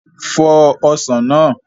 Fọ Ọsàn náà!